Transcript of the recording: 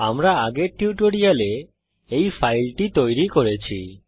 আমরা আগের টিউটোরিয়ালে এই ফাইলটি তৈরি করেছি